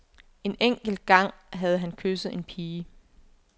En enkelt gang havde han kysset en pige.